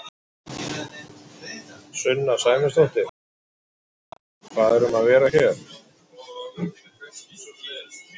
Sunna Sæmundsdóttir: Jóhannes hvað er um að vera hérna?